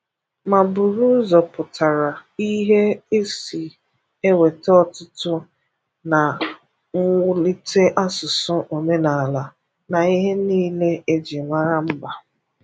Ma bụrụ ụzọ pụtara ihe e si eweta ọ̀tụ̀tụ̀ na m̀wụ̀lite ásụ̀sụ̀, òmènala, na ihe niile e jiri mara mba.